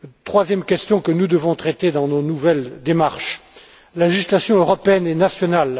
Troisième question que nous devons traiter dans nos nouvelles démarches les législations européenne et nationale.